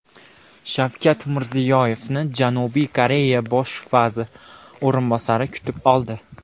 Shavkat Mirziyoyevni Janubiy Koreya bosh vazir o‘rinbosari kutib oldi.